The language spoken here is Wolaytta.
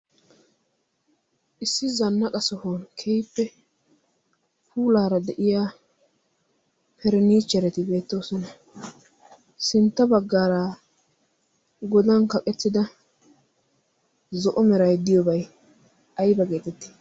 issi zannaqa sohun kehippe puulaara de7iya perinihcherati beettoosona. sintta baggaara godan kaqettida zo7o merai diyoobai aiba geetetti?